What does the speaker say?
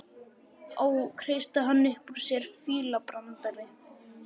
Ó, kreisti hann upp úr sér, fílabrandari